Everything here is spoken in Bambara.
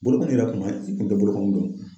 Bolokɔni yɛrɛ kun ma, i kun tɛ bolokɔni